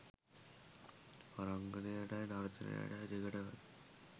රංගනයටයි නර්තනයටයි දෙකටම